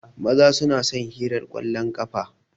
Maza su na son hirar kwallon ƙafa.